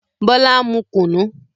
Bọlá ń mu kunu